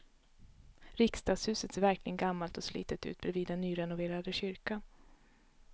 Riksdagshuset ser verkligen gammalt och slitet ut bredvid den nyrenoverade kyrkan.